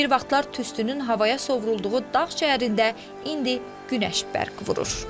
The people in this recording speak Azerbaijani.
Bir vaxtlar tüstünün havaya sovrulduğu dağ şəhərində indi günəş bərq vurur.